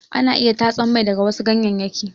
Ana iya tatsan mai daga wasu ganyeyyaki.